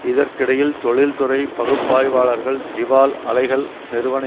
இதற்கிடையில் தொழில்துறை பகுப்பாய்வாளர்கள் திவால் அலைகள் நிறுவன